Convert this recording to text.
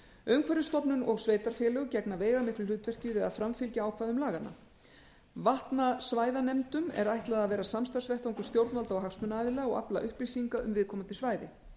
umhverfisstofnun og sveitarfélög gegna veigamiklu hlutverki við að framfylgja ákvæðum laganna vatnasvæðanefndum er ætlað að vera samstarfsvettvangur stjórnvalda og hagsmunaaðila og afla upplýsinga um viðkomandi svæði